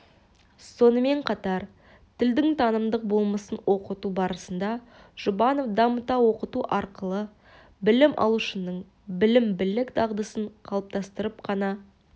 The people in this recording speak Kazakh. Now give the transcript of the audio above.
сонымен қатар тілдің танымдық болмысын оқыту барысында жұбанов дамыта оқыту арқылы білім алушының білім білік дағдысын қалыптастырып қана